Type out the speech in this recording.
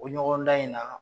O ɲɔgɔndan in na